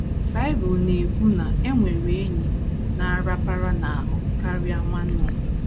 Bible na - ekwu na “ e nwere enyi na - arapara n’ahụ karịa nwanne. ”